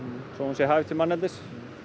svo hún sé hæf til manneldis